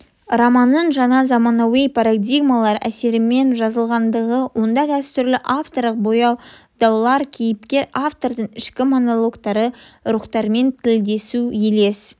романның жаңа заманауи парадигмалар әсерімен жазылғандығы онда дәстүрлі авторлық баяндаулар кейіпкер-автордың ішкі монологтары рухтармен тілдесу елес